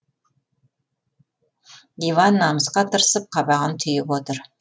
иван намысқа тырысып қабағын түйіп отыр